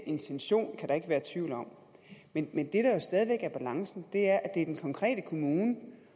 intention kan der ikke være tvivl om men det der stadig væk er balancen er at det er den konkrete kommune